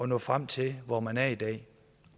nå frem til hvor man er i dag